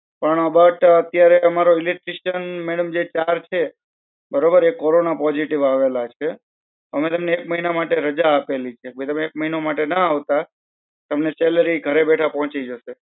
પણ બટ ક્યારે અમારો electrician madam જે ચાર છે, બરોબર એક corona positive આવેલા છે. હવે તેને એક મહિના માટે રજા આપેલી છે. અબે તમને એક મહિના માટે ના આવતા, તમને salary ઘરે બેઠા પોહચી જાસે.